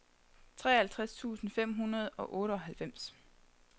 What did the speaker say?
treoghalvtreds tusind fem hundrede og otteoghalvfems